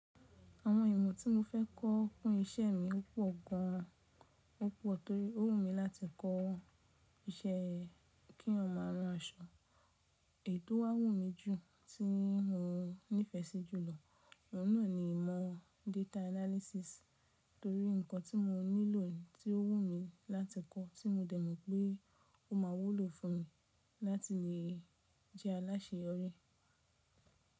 Àwọn ìmọ̀ tí mo fẹ́ kọ fún isẹ́ mi pọ̀ gan an. Ó pọ̀ torí ó wù mí láti kọ́ isẹ́ kí eeyan máa rán aṣọ. Èyi tò wá wù mí jù tí mo nífẹsí jùlọ, ọ̀un naa ni ìmọ̀ data analysis torí nǹkan tí mo nílò tí ó wù mí láti kọ́ tí mo dẹ̀ mọ̀ pé ó máa wúlò fún mi láti lè jẹ́ aláṣeyọrí.